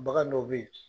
Bagan dɔ bɛ yen